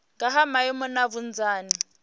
nga ha maimo na vhunzani